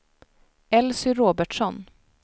Elsy Robertsson